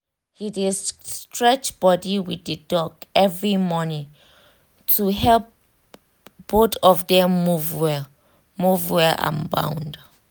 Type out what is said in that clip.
he dey stretch body with the dog every morning to help both of them move well move well and bond